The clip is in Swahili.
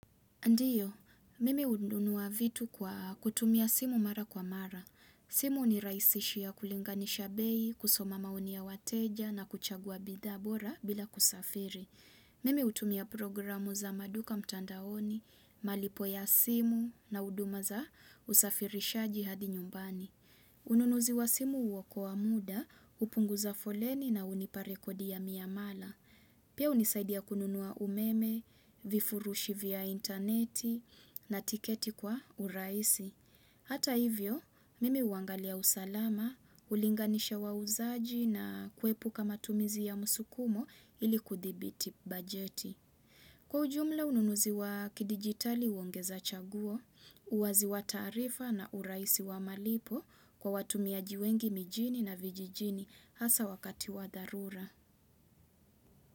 Ndiyo, mimi hununua vitu kwa kutumia simu mara kwa mara. Simu hunirahisishia kulinganisha bei, kusoma maoni ya wateja na kuchagua bidhaa bora bila kusafiri. Mimi hutumia programu za maduka mtandaoni, malipo ya simu na huduma za usafirishaji hadi nyumbani. Ununuzi wa simu huokoa wa muda, hupunguza foleni na hunipa rekodi ya miamala. Pia hunisaidia kununua umeme, vifurushi vya interneti na tiketi kwa urahisi. Hata hivyo, mimi huangalia usalama, hulinganisha wauzaji na kuepuka matumizi ya msukumo ili kudhibiti bajeti. Kwa ujumla ununuzi wa kidigitali huongeza chaguo, uwazi wa taarifa na urahisi wa malipo kwa watumiaji wengi mijini na vijijini hasa wakati wa dharura.